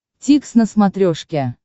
дтикс на смотрешке